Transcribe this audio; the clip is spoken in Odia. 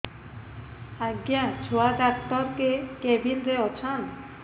ଆଜ୍ଞା ଛୁଆ ଡାକ୍ତର କେ କେବିନ୍ ରେ ଅଛନ୍